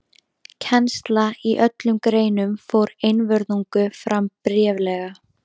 Kennsla í öllum greinum fór einvörðungu fram bréflega.